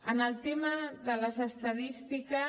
en el tema de les estadístiques